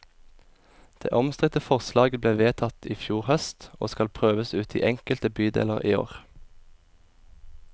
Det omstridte forslaget ble vedtatt i fjor høst, og skal prøves ut i enkelte bydeler i år.